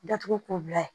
Datugu kobila